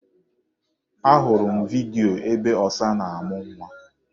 Ahụrụ m vidyo ebe ọsa na-amụ nwa.